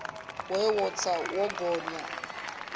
we wo tsa wo gonya